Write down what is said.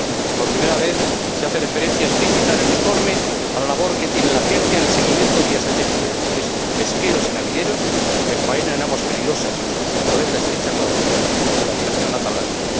Por primera vez, se hace referencia explícita en el informe a la labor que tiene la Agencia en el seguimiento vía satélite de buques pesqueros y navieros que faenan en aguas peligrosas, como en la estrecha colaboración con la operación Atalanta.